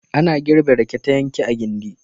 Ana girbe rake ta yanke a gindi.